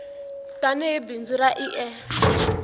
tani hi bindzu ra ie